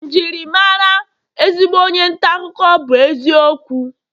Njirimara ezigbo onye nta akụkọ bu eziokwu